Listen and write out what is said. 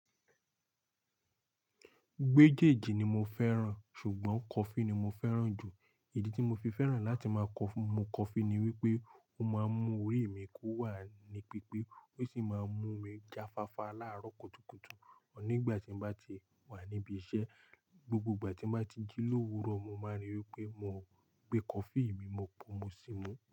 Mèjéèjì ni mo fẹ́ràn, ṣùgbọ́n coffee ni mo fẹ́ràn jù. Ìdí tí mo fi fẹ́ràn láti máa mu coffee ni wípé ó máa mú orí mi ko wà ní pípé, ó sì máa mú mi já fafá láàárọ̀ kùtùkùtù, nígbà tí n bá ti wà níbi iṣẹ́. Gbógbó ìgbà tí n bá ti jí lówúrọ̀, mo máa ríí pé mo gbé coffee mi, mo pò, mo sì mú.